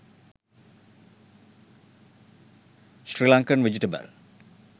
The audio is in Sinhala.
srilankan vegetable